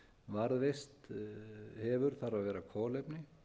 varðveist hefur þarf að vera kolefni